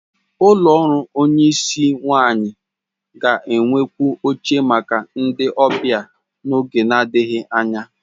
Ụlọ ọrụ onyisi nwanyi ga-enwekwu oche maka ndị ọbịa n'oge na-adịghị anya.